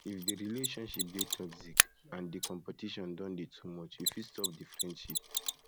if di relationship dey toxic and um di competition don dey too much you fit stop di friendship